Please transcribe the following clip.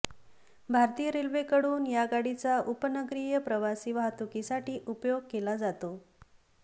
भारतीय रेल्वेकडून या गाडीचा उपनगरीय प्रवासी वाहतुकीसाठी उपयोग केला जातो